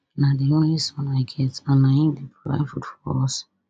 na di only son i get and na im dey provide food for us